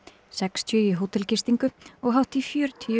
sextíu í hótelgistingu og hátt í fjörutíu